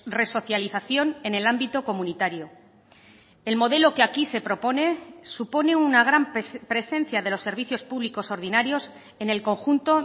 resocialización en el ámbito comunitario el modelo que aquí se propone supone una gran presencia de los servicios públicos ordinarios en el conjunto